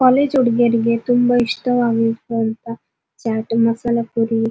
college ಹುಡ್ಗಿರಿಗೆ ತುಂಬ ಇಷ್ಟವಾಗುವಂತಹ ಚಾಟ್ ಮಸಾಲಾ ಪುರಿ --